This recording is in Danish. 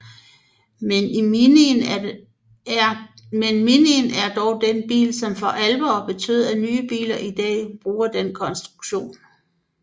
Men Minien er dog den bil som for alvor betød at nye biler i dag bruger den konstruktion